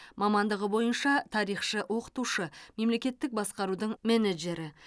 мамандығы бойынша тарихшы оқытушы мемлекеттік басқарудың менеджері